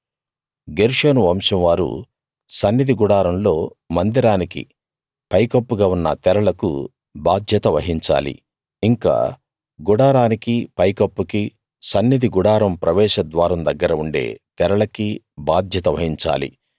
గెర్షోను వంశం వారు సన్నిధి గుడారంలో మందిరానికీ పైకప్పుగా ఉన్న తెరలకు బాధ్యత వహించాలి ఇంకా గుడారానికీ పైకప్పుకీ సన్నిధి గుడారం ప్రవేశద్వారం దగ్గర ఉండే తెరలకీ బాధ్యత వహించాలి